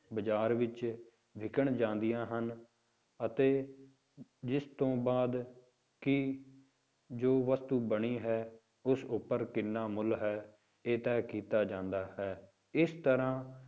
ਬਾਜ਼ਾਰ ਵਿੱਚ ਵਿੱਕਣ ਜਾਂਦੀਆਂ ਹਨ, ਅਤੇ ਜਿਸ ਤੋਂ ਬਾਅਦ ਕਿ ਜੋ ਵਸਤੂ ਬਣੀ ਹੈ ਉਸ ਉੱਪਰ ਕਿੰਨਾ ਮੁੱਲ ਹੈ, ਇਹ ਤਹਿ ਕੀਤਾ ਜਾਂਦਾ ਹੈ, ਇਸ ਤਰ੍ਹਾਂ